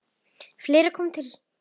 En fleira kom til.